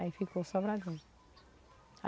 Aí ficou Sobradinho.